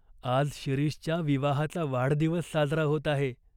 आज शिरीषच्या विवाहाचा वाढदिवस साजरा होत आहे.